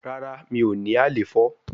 Rara mi o ni alefo